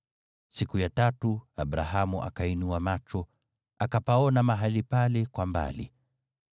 Siku ya tatu Abrahamu akainua macho, akapaona mahali pale kwa mbali.